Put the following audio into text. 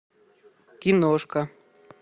киношка